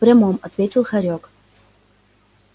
в прямом ответил хорёк